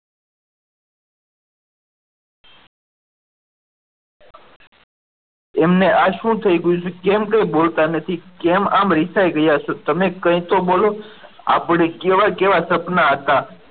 એમને આ શું થયું કેમ કંઈ બોલતા નથી કેમ આમ રિસાઈ ગયા છો તમે કંઈ તો બોલો આપણે કેવા કેવા સપના હતા.